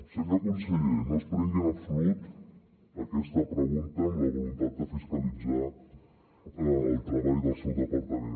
senyor conseller no es prengui en absolut aquesta pregunta amb la voluntat de fiscalitzar el treball del seu departament